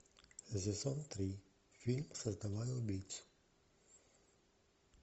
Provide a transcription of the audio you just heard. сезон три фильм создавая убийцу